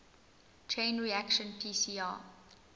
chain reaction pcr